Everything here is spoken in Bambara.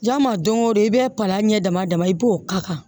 Ja ma don o don i bɛ palan ɲɛ dama dama i b'o k'a kan